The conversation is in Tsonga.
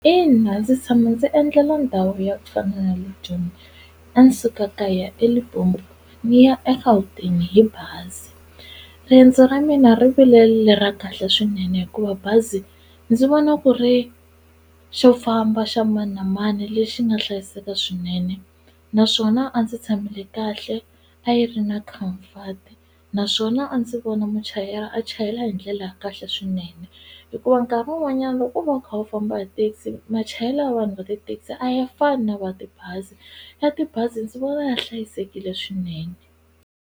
Ina ndzi tshama ndzi endlela ndhawu yo fana na le Joni a ni suka kaya eLimpopo ni ya eGauteng hi bazi riendzo ra mina ri vile le ra kahle swinene hikuva bazi ndzi vona ku ri xo famba xa mani na mani lexi nga hlayiseka swinene naswona a ndzi tshamile kahle a yi ri na comfort naswona a ndzi vona muchayeri a chayela hi ndlela ya kahle swinene hikuva nkarhi wun'wanyana loko u va u kha u famba hi taxi machayele ya vanhu va tithekisi a ya fani na va tibazi ya tibazi ndzi vona ya hlayisekile swinene.